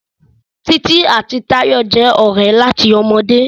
Titi àti Tayo jé òré láti ọmọdé.